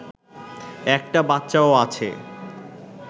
একটা বাচ্চাও আছে